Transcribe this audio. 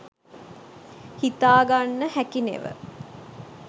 හිතාගන්න හැකි නෙව